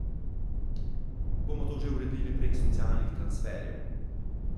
Bomo to že uredili prek socialnih transferjev.